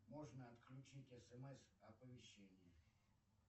можно отключить смс оповещение